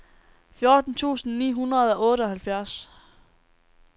fjorten tusind ni hundrede og otteoghalvfjerds